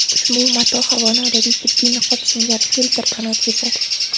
Ushbu mato havoni odatiy tibbiy niqob singari filtrdan o‘tkazadi.